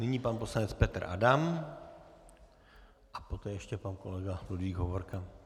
Nyní pan poslanec Petr Adam a poté ještě pan kolega Ludvík Hovorka.